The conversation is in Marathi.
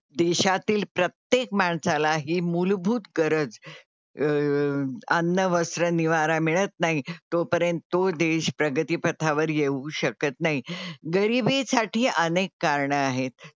देशातील प्रत्येक माणसाला ही मूलभूत गरज अं अन्न, वस्त्र, निवारा मिळत नाही तोपर्यंत तो देश प्रगतीपथा वर येऊ शकत नाही. गरीबीसाठी अनेक कारणं आहेत.